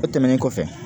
O tɛmɛnen kɔfɛ